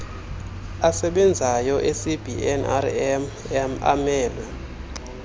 asebenzayo ecbnrm amelwe